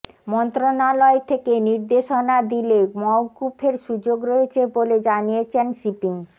মন্ত্রণালয় থেকে নির্দেশনা দিলে মওকুফের সুযোগ রয়েছে বলে জানিয়েছেন শিপিং